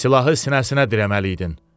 Silahı sinəsinə dirəməliydin.